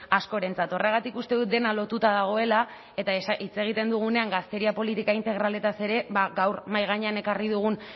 askorentzat horregatik uste dut dena lotuta dagoela eta hitz egiten dugunean gazteria politika integralez ere gaur mahai gainean ekarri dugun